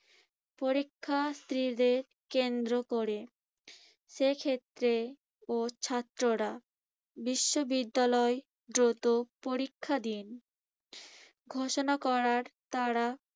পরীক্ষার্থীদের কেন্দ্র করে। সেক্ষেত্রেও ছাত্ররা। বিশ্ববিদ্যালয় দ্রুত পরীক্ষা দিন ঘোষণা করার তাড়া